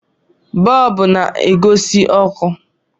bọọbụ na-agosi ọkụ